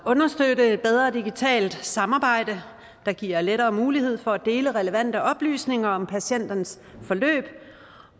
at understøtte et bedre digitalt samarbejde der giver lettere mulighed for at dele relevante oplysninger om patientens forløb